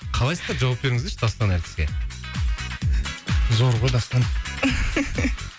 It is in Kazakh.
қалайсыздар жауап беріңіздерші дастан әртіске зор ғой дастан